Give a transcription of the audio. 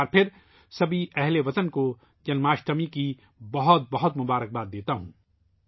میں ایک بار پھر تمام اہل وطن کو جنم اشٹمی کی بہت بہت مبارکباد دیتا ہوں